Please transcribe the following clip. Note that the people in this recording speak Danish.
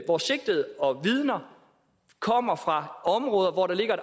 hvor sigtede og vidner kommer fra områder hvor der ligger